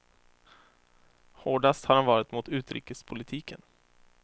Hårdast har han varit mot utrikespolitiken.